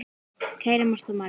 Kæra Marta María.